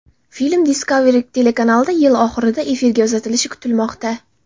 Film Discovery telekanalida yil oxirida efirga uzatilishi kutilmoqda.